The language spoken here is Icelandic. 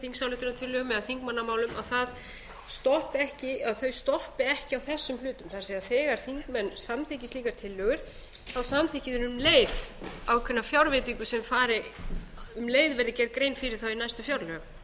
þingsályktunartillögum eða þingmannamálum þau stoppi ekki á þessum hluta það er þegar þingmenn samþykki slíkar tillögur þá samþykki þeir um leið ákveðna fjárveitingu sem um leið verði gerð grein fyrir í næstu